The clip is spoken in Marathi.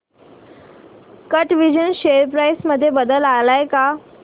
कॅटविजन शेअर प्राइस मध्ये बदल आलाय का